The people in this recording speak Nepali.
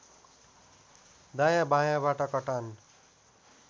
दायाँ बायाँबाट कटान